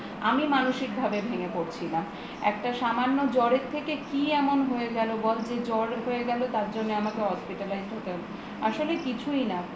আমি মানসিক ভাবে ভেঙ্গে পরছিলাম একটা সামান্য জ্বরের থেকে কি এমন হয়ে গেল বল যে জ্বর হয়ে গেল তার জন্য আমাকে hospitalized হতে হল আসলে কিছুই না